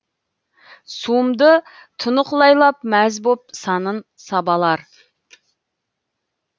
суымды тұнық лайлап мәз боп санын сабалар